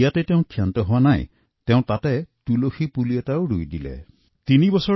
তাতে তেওঁ ক্ষান্ত হোৱা নাই সেই বালটিতে তেওঁ এটি তুলসী পুলিও ৰোপণ কৰিছে